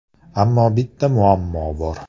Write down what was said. Ammo bitta muammo bor.